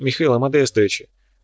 михаила модестовича